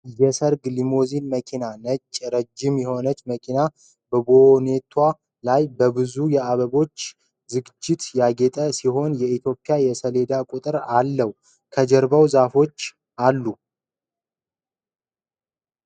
የሰርግ ሊሞዚን መኪና ። ነጭ፣ ረዥም የሆነችው መኪናው በቦኔቷ ላይ በብዙ የአበባ ዝግጅት ያጌጠ ሲሆን፣ የኢትዮጵያ የሰሌዳ ቁጥርም አለው። ከጀርባ ዛፎች አሉ።